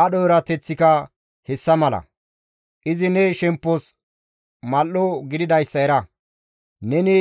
Aadho erateththika hessa mala; izi ne shemppos mal7o gididayssa era. Neni